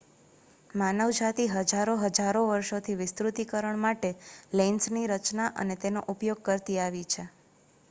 માનવજાતિ હજારો હજારો વર્ષોથી વિસ્તૃતીકરણ માટે લેન્સની રચના અને તેનો ઉપયોગ કરતી આવી છે